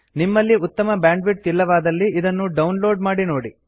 ನಿಮ್ಮಲ್ಲಿ ಉತ್ತಮ ಬ್ಯಾಂಡ್ವಿಡ್ತ್ ಇಲ್ಲವಾದಲ್ಲಿ ಇದನ್ನು ಡೌನ್ ಲೋಡ್ ಮಾಡಿ ನೋಡಿ